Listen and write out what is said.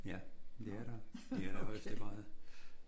Ja. Det er der. I allerhøjeste grad